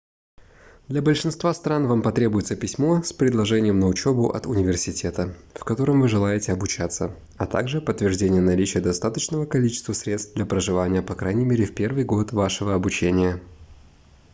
для большинства стран вам потребуется письмо с предложением на учебу от университета в котором вы желаете обучаться а также подтверждение наличия достаточного количества средств для проживания по крайней мере в первый год вашего обучения